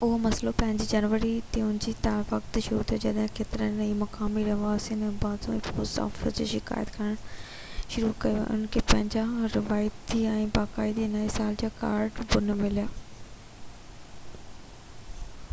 اهو مسئلو پهرين جنوري تي ان وقت شروع ٿيو جڏهن ڪيترن ئي مقامي رهواسين اوبانازاوا پوسٽ آفيس کي شڪايت ڪرڻ شروع ڪئي تہ انهن کي پنهنجا روايتي ۽ باقاعدي نئي سال جا ڪارڊ نہ مليا هئا